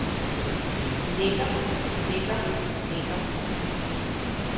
lægger lægger lægger